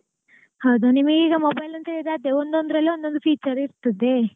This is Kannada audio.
ಹೌದ ನಿಮಗೀಗ mobile ಅಂತ ಹೇಳಿದ್ರೆ ಅದೇ ಒಂದೊಂದ್ರಲ್ಲಿ ಒಂದೊಂದು feature ಇರ್ತದೆ.